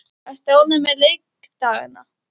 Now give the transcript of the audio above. Ertu ánægður með leikdagana?